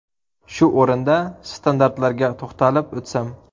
Shu o‘rinda, standartlarga to‘xtalib o‘tsam.